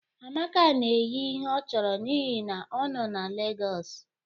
Amaka na-eyi ihe ọ chọrọ n'ihi na ọ nọ na Lagos